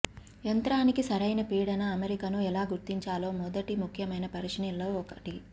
యంత్రానికి సరైన పీడన అమరికను ఎలా గుర్తించాలో మొదటి ముఖ్యమైన పరిశీలనల్లో ఒకటి